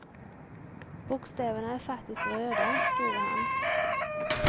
Bokstäverna är faktiskt röda, skriver han.